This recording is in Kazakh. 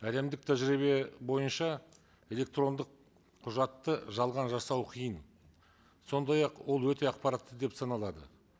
әлемдік тәжірибе бойынша электрондық құжатты жалған жасау қиын сондай ақ ол өте ақпаратты деп саналады